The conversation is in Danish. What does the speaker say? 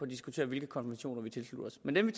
diskutere hvilke konventioner vi tilslutter os men dem